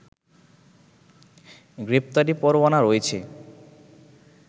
গ্রেপ্তারি পরোয়ানা রয়েছে